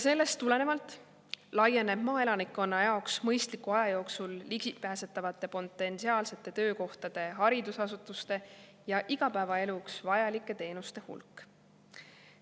Sellest tulenevalt laieneb maaelanikkonna jaoks mõistliku aja jooksul ligipääsetavate potentsiaalsete töökohtade, haridusasutuste ja igapäevaeluks vajalike teenuste hulk.